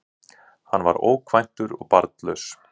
Hann var ókvæntur og barnlaus